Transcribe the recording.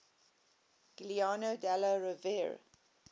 giuliano della rovere